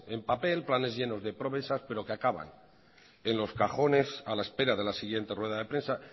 en papel planes llenos de promesa pero que acaban en los cajones a la espera de la siguiente rueda de prensa